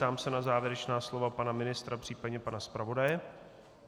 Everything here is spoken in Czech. Ptám se na závěrečná slova pana ministra, případně pana zpravodaje.